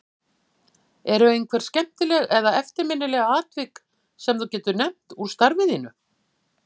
Eru einhver skemmtileg eða eftirminnileg atvik sem þú getur nefnt úr starfi þínu?